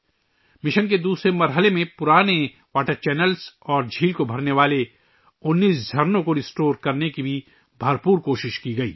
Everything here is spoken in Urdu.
مشن کے دوسرے مرحلے میں پرانے واٹر چینلوں اور جھیل کو بھرنے والے 19 چشموں کی بحالی کے لئے بھی کافی کوشش کی گئی